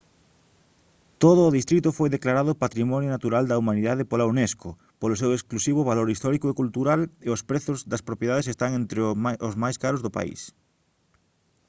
todo o distrito foi declarado patrimonio natural da humanidade pola unesco polo seu exclusivo valor histórico e cultural e os prezos das propiedades están entre o máis caros do país